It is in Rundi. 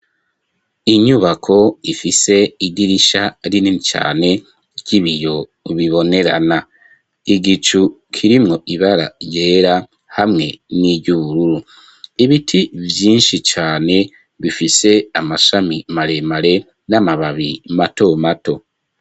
Inyubako ifise idirisha rinni cane ry'ibiyo bibonerana. Igicu kirimwo ibara ryera hamwe n'iryo ubururu. Ibiti vyinshi cane bifise amashami maremare n'amababi mato mato.